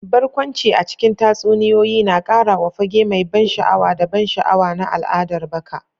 Barkwanci a cikin tatsuniyoyi na ƙara wa fage mai ban sha'awa da ban sha'awa na al'adar baka.